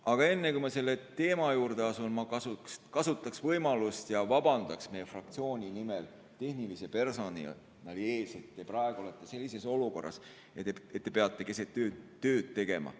Aga enne, kui ma selle teema juurde asun, kasutan võimalust ja vabandan meie fraktsiooni nimel tehnilise personali ees, et te praegu olete sellises olukorras ja peate keset ööd tööd tegema.